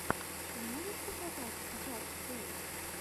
ты можешь показать джаст плэй